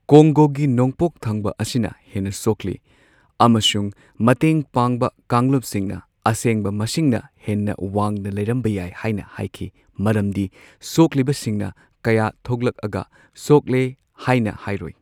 ꯀꯣꯡꯒꯣꯒꯤ ꯅꯣꯡꯄꯣꯛ ꯊꯪꯕ ꯑꯁꯤꯅ ꯍꯦꯟꯅ ꯁꯣꯛꯂꯤ, ꯑꯃꯁꯨꯡ ꯃꯇꯦꯡꯄꯥꯡꯕ ꯀꯥꯡꯂꯨꯞꯁꯤꯡꯅ ꯑꯁꯦꯡꯕ ꯃꯁꯤꯡꯅ ꯍꯦꯟꯅ ꯋꯥꯡꯅ ꯂꯩꯔꯝꯕ ꯌꯥꯏ ꯍꯥꯏꯅ ꯍꯥꯢꯈꯤ꯫ ꯃꯔꯝꯗꯤ ꯁꯣꯛꯂꯤꯕꯁꯤꯡꯅ ꯀꯌꯥ ꯊꯣꯛꯂꯛꯑꯒ ꯁꯣꯛꯂꯦ ꯍꯥꯢꯅ ꯍꯥꯢꯔꯣꯢ꯫